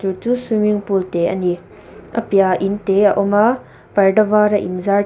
chu swimming pool te a ni a piahah inte a awm a parda var a in zar teuh--